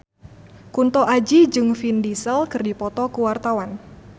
Kunto Aji jeung Vin Diesel keur dipoto ku wartawan